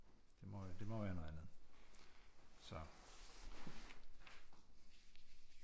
Det må det må være noget andet så